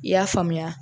I y'a faamuya